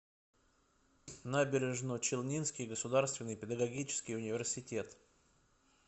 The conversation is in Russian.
набережночелнинский государственный педагогический университет